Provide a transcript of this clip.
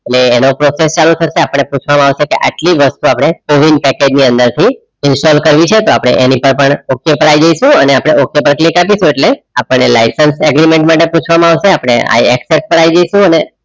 અને એના process ચાલુ થતાં આપડે પુછવામાં અવસે કે આટલી વસ્તુ નપદે ઓવિન પેકેજ ની અંદર થી ઇન્સ્ટોલ કર્યું છે તો અપડે આની સહયમે okay પર આય જઇસુ અને અપડે okay પર click અપિસું એટલે આપણે લાઈસંસ અગ્રિમેંટ માટે પુછવામાં અવસે અપડે I accept પર આય જઇસુ